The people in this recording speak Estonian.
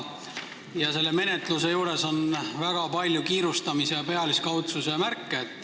Selle menetluse juures on väga palju kiirustamise ja pealiskaudsuse märke.